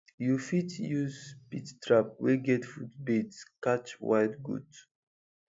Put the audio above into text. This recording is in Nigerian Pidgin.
you fit use pit trap wey get food bait catch wild goat